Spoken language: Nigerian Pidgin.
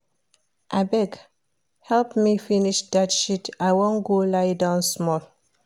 Abeg help me finish dat sheet I wan go lie down small